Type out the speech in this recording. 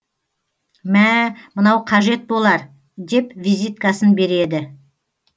мә мынау қажет болар деп визиткасын береді